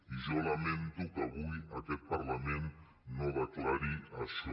i jo lamento que avui aquest parlament no declari això